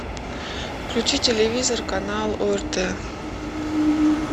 включи телевизор канал орт